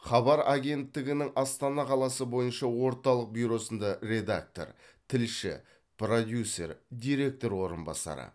хабар агенттігінің астана қаласы бойынша орталық бюросында редактор тілші продюсер директор орынбасары